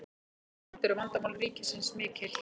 jafnframt eru vandamál ríkisins mikil